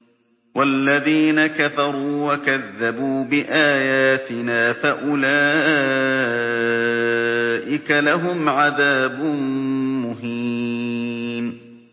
وَالَّذِينَ كَفَرُوا وَكَذَّبُوا بِآيَاتِنَا فَأُولَٰئِكَ لَهُمْ عَذَابٌ مُّهِينٌ